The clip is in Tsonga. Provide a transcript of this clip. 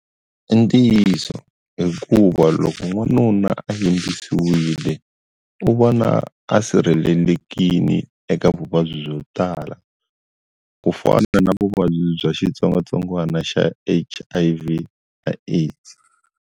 I ntiyiso hikuva loko n'wanuna a yimbisiwile u vona a sirhelelekile eka vuvabyi byo tala ku fana na vuvabyi bya xitsongwatsongwana xa H_I_V na AIDS.